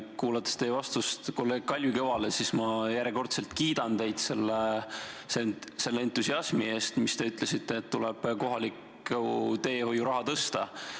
Kuulanud teie vastust kolleeg Kalvi Kõvale, tahan ma järjekordselt kiita teid selle entusiasmi eest, kui ütlesite, et kohaliku teehoiu raha tuleb suurendada.